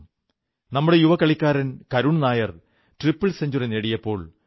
നമ്മുടെ യുവകളിക്കാരൻ Karun Nair triple century നേടിയപ്പോൾ കെ